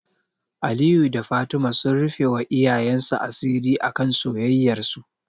Aliyu da Fatima sun rufewa iyayensu asiri akan soyayyarsu.